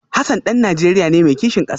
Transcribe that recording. Hassan dan Najeriya ne mai kishin kasa